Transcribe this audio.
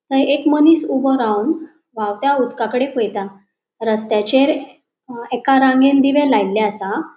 थय एक मनिस ऊबो रावन वावत्या उदकाकड़े पयता रसत्याचेर अ एका रांगेन दिवे लायल्ले आसा.